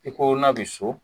I ko n'a bɛ so